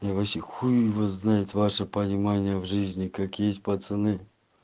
и вообще хуй его знает ваше понимание в жизни как есть пацаны